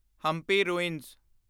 Hampi ruins